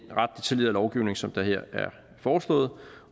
tidligere lovgivning som der her er foreslået